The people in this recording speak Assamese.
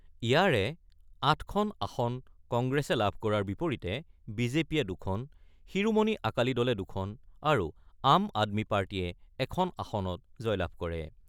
ইয়াৰে ৮খন আসন কংগ্ৰেছে লাভ কৰাৰ বিপৰীতে বি জে পিয়ে ২খন, শিৰোমণি আকালী দলে ২খন আৰু আম আদমী পাৰ্টীয়ে এখন আসনত জয়লাভ কৰে।